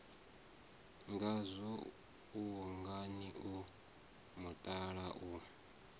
ngazwo ungani o mutala u